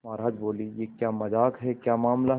महाराज बोले यह क्या मजाक है क्या मामला है